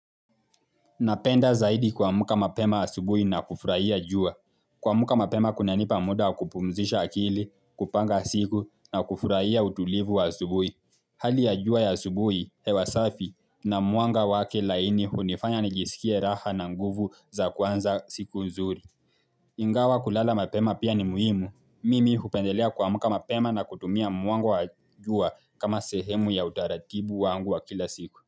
Napenda zaidi kuamka mapema asubuhi na kufurahia jua. Kuamka mapema kunanipa muda wa kupumzisha akili, kupanga siku na kufurahia utulivu wa asubuhi. Hali ya jua ya asubuhi, hewa safi na mwanga wake laini hunifanya nijisikie raha na nguvu za kwanza siku nzuri. Ingawa kulala mapema pia ni muhimu. Mimi hupendelea kuamka mapema na kutumia mwanga wa jua kama sehemu ya utaratibu wangu wa kila siku.